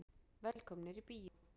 Velkomnir í bíó.